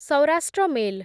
Saurashtra mail